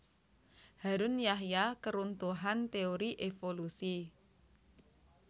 Harun Yahya Keruntuhan Teori Evolusi